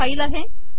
ज्याचे नाव आहे